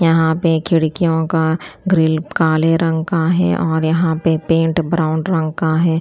यहां पे खिड़कियों का ग्रिल काले रंग का है और यहां पे पेंट ब्राउन रंग का हैं।